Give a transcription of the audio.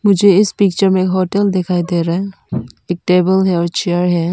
मुझे इस पिक्चर में होटल दिखाई दे रहा है एक टेबल है चेयर है।